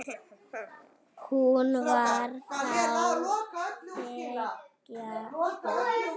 Hún var þá þriggja ára.